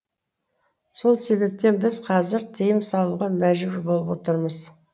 сол себептен біз қазір тыйым салуға мәжбүр болып отырмыз